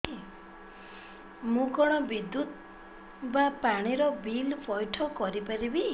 ମୁ କଣ ବିଦ୍ୟୁତ ବା ପାଣି ର ବିଲ ପଇଠ କରି ପାରିବି